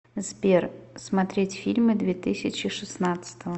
сбер смотреть фильмы две тысячи шестнадцатого